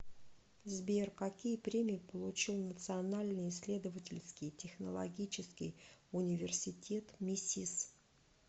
сбер какие премии получил национальный исследовательский технологический университет мисис